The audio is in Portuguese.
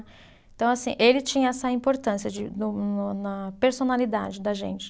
Então, assim, ele tinha essa importância de no, no, na personalidade da gente.